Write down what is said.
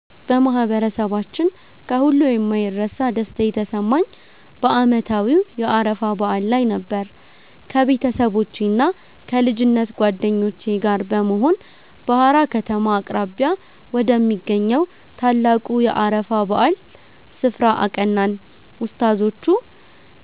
በማህበረሰባችን ከሁሉ የማይረሳ ደስታ የተሰማኝ በዓመታዊው የአረፋ በዓል ላይ ነበር። ከቤተሰቦቼና ከልጅነት ጓደኞቼ ጋር በመሆን በሃራ ከተማ አቅራቢያ ወደሚገኘው ታላቁ የአረፋ በዓል ስፍራ አቀናን። ኡስታዞቹ